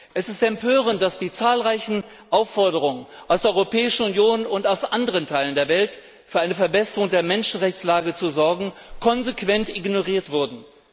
Es ist empörend, dass die zahlreichen Aufforderungen aus der Europäischen Union und aus anderen Teilen der Welt, für eine Verbesserung der Menschenrechtslage zu sorgen, konsequent ignoriert wurden.